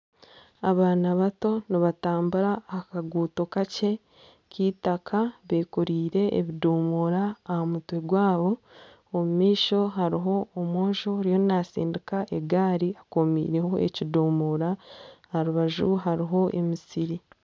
Abana bato nibatambura ah'akaguuto kakye k'eitaka bekoreire ebidomora aha mutwe gwabo omu maisho hariho omwojo ariyo natsindika egari ekomiireho ekidomora aha rubaju hariho emisiri.